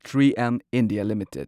three M India limited